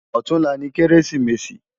Òtúnlá ni Kérésimési